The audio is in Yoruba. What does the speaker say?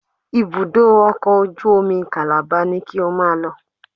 Ibùdó ọkọ̀ ojú omi Calabar ni ki o máa lọ